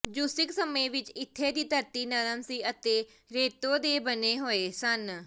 ਜੂਸਿਕ ਸਮੇਂ ਵਿੱਚ ਇੱਥੇ ਦੀ ਧਰਤੀ ਨਰਮ ਸੀ ਅਤੇ ਰੇਤੋਂ ਦੇ ਬਣੇ ਹੋਏ ਸਨ